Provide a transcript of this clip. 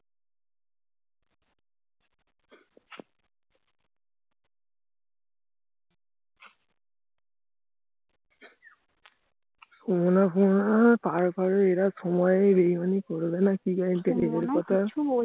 এরা সময়ের কি guarantie